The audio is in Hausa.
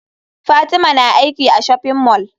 Fatima na aiki a shopping mall.